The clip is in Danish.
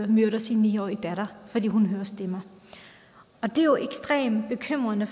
myrder sin ni årige datter fordi hun hører stemmer det er jo ekstremt bekymrende